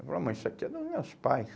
Eu falei, ó mãe, isso aqui é do meus pais.